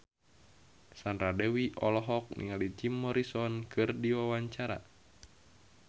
Sandra Dewi olohok ningali Jim Morrison keur diwawancara